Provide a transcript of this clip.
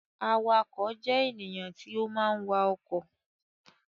Awakọ̀ jẹ́ ènìyàn tí ó máa ń wa ọkọ̀